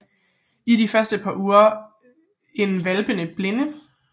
I de første par uger er hvalpene blinde